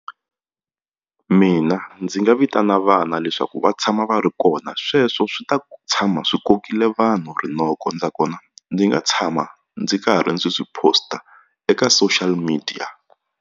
Mina ndzi nga vitana vana leswaku va tshama va ri kona sweswo swi ta tshama swi kokile vanhu rinoko nakona ndzi nga tshama ndzi karhi ndzi swi post-a eka social media.